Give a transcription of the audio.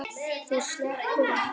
Þú sleppur ekki!